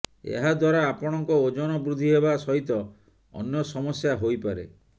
ଏହାଦ୍ୱାରା ଆପଣଙ୍କ ଓଜନ ବୃଦ୍ଧି ହେବା ସହିତ ଅନ୍ୟ ସମସ୍ୟା ହୋଇପାରେ